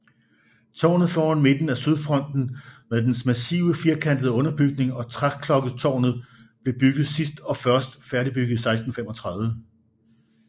Tårnet foran midten af sydfronten med dens massive firkantede underbygning og træklokketårnet blev bygget sidst og først færdigbygget i 1635